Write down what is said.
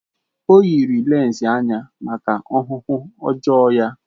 O yiri lense anya maka ọhụhụ ọjọọ ya.